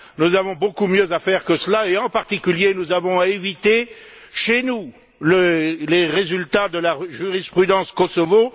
Nous avons beaucoup mieux à faire que cela et, en particulier, nous avons à éviter chez nous les résultats de la jurisprudence Kosovo.